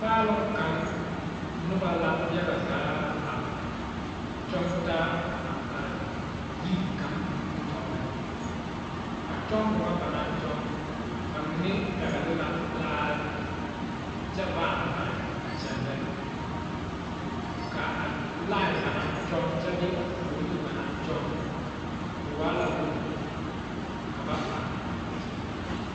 Paaloŋ kaŋa noba la yaga zaa a kyɔŋ taa a are yiri kaŋ nimi tɔɔriŋ ,a kyɔŋmo nyɛ ba na kyɔŋ ba mine pɛŋli la laare kyɛ paa are a kyɛllɛ, ka a laen ba naŋ kyɔŋ kyɛ bee a fooliŋ ba naŋ kyɔŋ o waa la woge ka ba paa are kyɛllɛ.